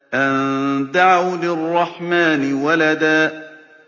أَن دَعَوْا لِلرَّحْمَٰنِ وَلَدًا